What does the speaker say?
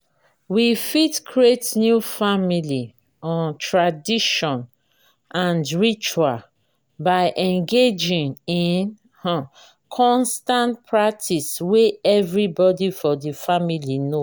we fit create new family um tradition and ritual by engaging in um constant practice wey everybody for di family know